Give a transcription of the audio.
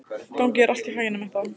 Gangi þér allt í haginn, Metta.